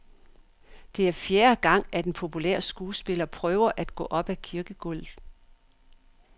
Det er fjerde gang, at den populære skuespiller prøver at gå op ad kirkegulvet.